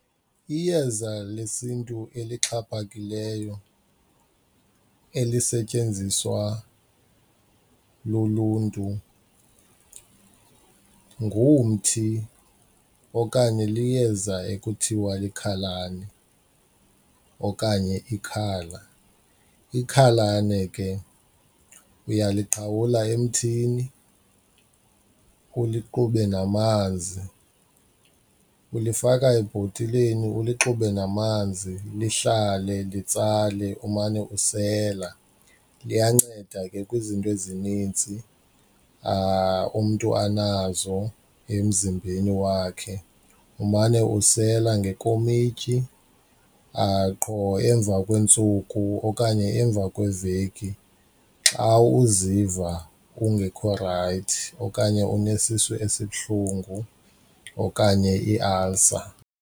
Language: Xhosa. Iyeza lesiNtu elixhaphakileyo elisetyenziswa luluntu ngumthi okanye liyeza ekuthiwa likhalane okanye ikhala, ikhalane ke uyalighawula emthini ulixube namanzi, ulifaka ebhotileni uluxube namanzi lihlale litsalele umane usela liyanceda ke kwizinto ezininzi umntu anazo emzimbeni wakhe. Umane usela ngekomityi qho emva kweentsuku okanye emva kweveki xa uziva ungekho rayithi okanye unesisu esibuhlungu okanye iialsa.